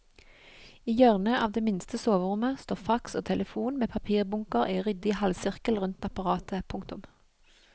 I hjørnet av det minste soverommet står fax og telefon med papirbunker i ryddig halvsirkel rundt apparatet. punktum